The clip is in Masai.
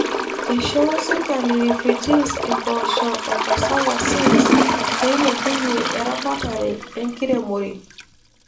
Eishoo serkali refugees impoosho o cassava seeds peilepunye eramatare e nkiremore.